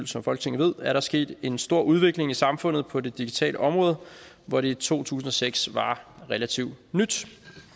som folketinget ved er der sket en stor udvikling i samfundet på det digitale område hvor det i to tusind og seks var relativt nyt